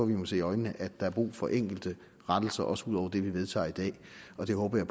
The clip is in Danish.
vi må se i øjnene at der er brug for enkelte rettelser også ud over det vi vedtager i dag og det håber